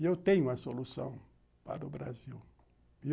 E eu tenho a solução para o Brasil.